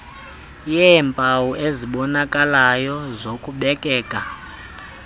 yeempawu ezibonakalayo zokubekeka